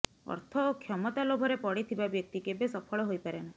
ଅର୍ଥ ଓ କ୍ଷମତା ଲୋଭରେ ପଡ଼ିଥିବା ବ୍ୟକ୍ତି କେବେ ସଫଳ ହୋଇପାରେନା